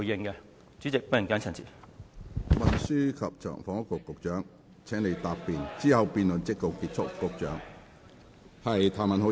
我現在請運輸及房屋局局長答辯，之後辯論即告結束。